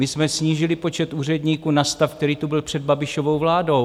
My jsme snížili počet úředníků na stav, který tu byl před Babišovou vládou.